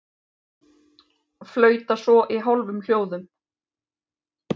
Flauta svo í hálfum hljóðum.